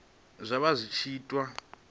zwa vha zwi tshi itiwa